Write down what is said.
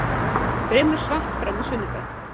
Fremur svalt fram á sunnudag